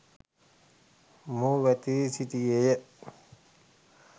මොහු වැතිරී සිටියේ ය.